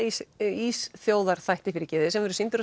Ísþjóðarþætti sem sýndur